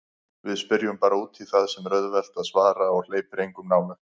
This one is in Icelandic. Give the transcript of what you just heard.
Við spyrjum bara útí það sem er auðvelt að svara og hleypir engum nálægt.